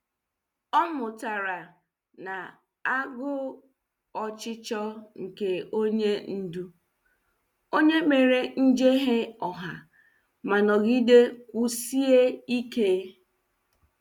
Ọ mụtara na agụ ọchịchọ nke onye ndú, onye mere njehie ọha ma nọgide kwụsie ike.